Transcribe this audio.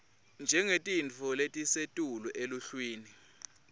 njengetintfo letisetulu eluhlwini